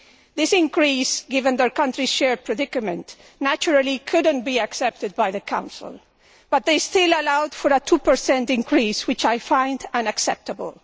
This increase, given the countries' shared predicament, naturally could not be accepted by the Council, but they still allowed for a 2 increase, which I find unacceptable.